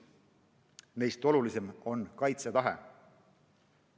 Neist olulisim on kaitsetahe.